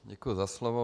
Děkuji za slovo.